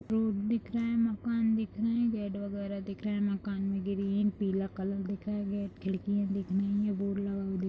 road दिख रहे हैं मकान दिख रहे हैं गेट वगैरह दिख रहे हैं मकान में ग्रीन पीला कलर दिख रहा है गेट खिड़कियाँ दिख रही हैं बोर्ड लगा हुआ दिख --